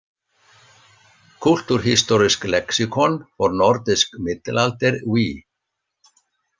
Kulturhistorisk leksikon for nordisk middelalder V